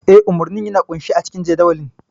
Eh, umarnin yana ƙunshe a cikin jadawalin.